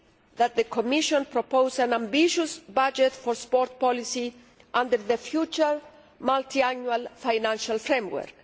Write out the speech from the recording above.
that the Commission propose an ambitious budget for sports policy under the future multiannual financial framework.